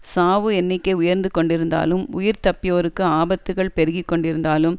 சாவு எண்ணிக்கை உயர்ந்து கொண்டிருந்தாலும் உயிர்தப்பியோருக்கு ஆபத்துக்கள் பெருகி கொண்டிருந்தாலும்